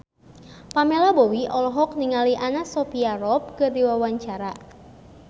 Pamela Bowie olohok ningali Anna Sophia Robb keur diwawancara